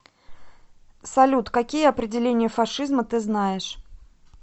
салют какие определение фашизма ты знаешь